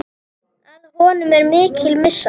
Að honum er mikil missa.